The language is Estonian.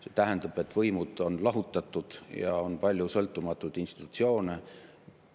See tähendab, et võimud on lahutatud ja on palju sõltumatuid institutsioone.